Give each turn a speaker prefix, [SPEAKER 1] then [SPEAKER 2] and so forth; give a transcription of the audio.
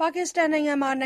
[SPEAKER 1] ပါကစ္စတန် နိုင်ငံအ